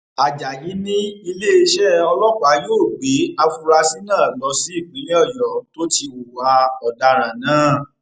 ajayi ni iléeṣẹ ọlọpàá yóò gbé àfúrásì náà lọ sí ìpínlẹ ọyọ tó ti hùwà ọdaràn náà